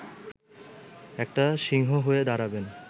একটা সিংহ হয়ে দাঁড়াবে